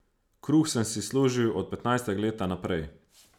Kruh sem si služil od petnajstega leta naprej.